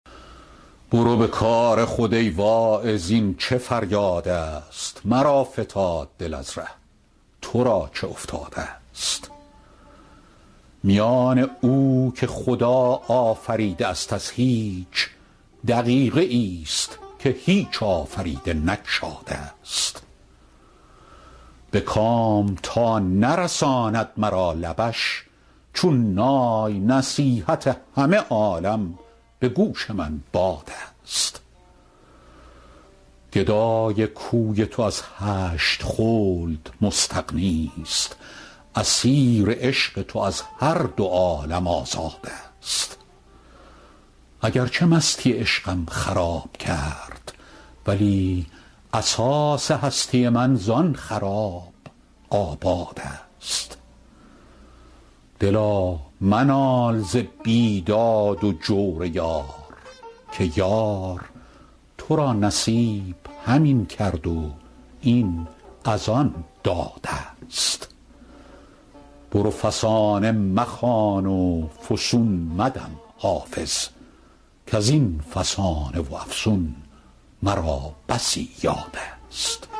برو به کار خود ای واعظ این چه فریادست مرا فتاد دل از ره تو را چه افتادست میان او که خدا آفریده است از هیچ دقیقه ای ست که هیچ آفریده نگشادست به کام تا نرساند مرا لبش چون نای نصیحت همه عالم به گوش من بادست گدای کوی تو از هشت خلد مستغنی ست اسیر عشق تو از هر دو عالم آزادست اگر چه مستی عشقم خراب کرد ولی اساس هستی من زآن خراب آبادست دلا منال ز بیداد و جور یار که یار تو را نصیب همین کرد و این از آن دادست برو فسانه مخوان و فسون مدم حافظ کز این فسانه و افسون مرا بسی یادست